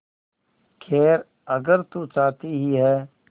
खैर अगर तू चाहती ही है